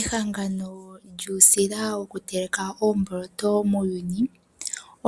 Ehangano lyuusila wokuteleka oomboloto muuyuni